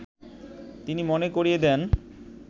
তিনি মনে করিয়ে দেন